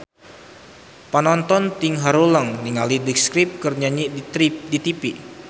Panonton ting haruleng ningali The Script keur nyanyi di tipi